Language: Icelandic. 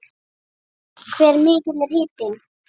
Hve mikill er hitinn?